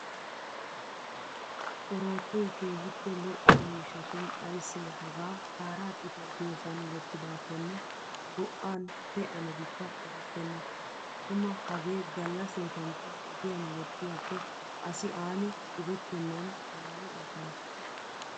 Oroottoy keehippe lo'o miishshashin ayssee hagaa kaaraa xittay diyoosan wottidaakkone go'an pee'anabikka erettenna. Tuma hagee galla seetankka ogiyan wottiyaakko asi aani xubettennan waayi aggana.